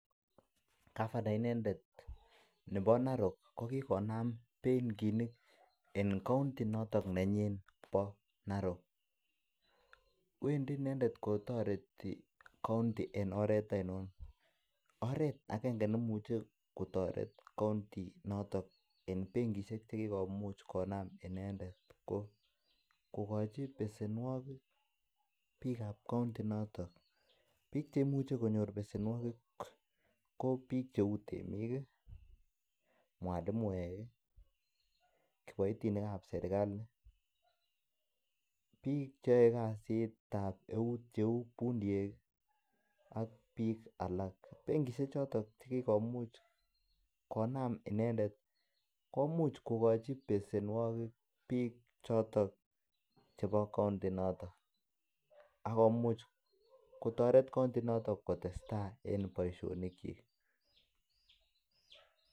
Gavana inendet nepo narok ko kikonam benkinik eng kaunti notok nenyinet nebo narok. Wendi inendet kotareti kaunti eng oret enon. Oret akenge nemuche kotaret kaunti notok eng benkinshek che kikomuch konam inendet ko kokochi pesenwogik pikap kaunti inotok. Pik che imuch konyor pesenwogik ko pik cheu tienik, mwalimwek, kiboitinik ap serikali, pik cheyaei kasit ap eut cheu fundiek ak pik alak. Benkishek chotok che kikomuch konam inendet komuch kokochi pesenwogik pik chotok chebo kaunti notok. Ak komuch kotaret kaunti inotok kotestai eng poishonik chik.